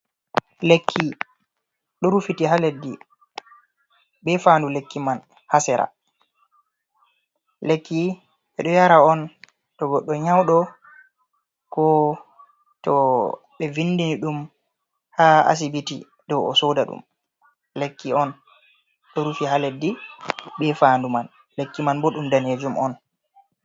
Lekki, ɗo rufiti ha leddi, be fandu lekki man ha sera. Lekki ɓe ɗo yara on to goɗɗo nyauɗo, ko to ɓe vindini ɗum ha asibiti dou o soda ɗum. Lekki on, ɗo rufi ha leddi, be fandu man. Lekki man bo ɗum danejum on.